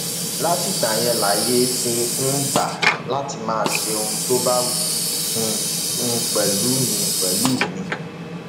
látìgbà yẹn lààyè ti um gbà á láti máa ṣe ohun tó bá wù um ú pẹlú mi pẹlú mi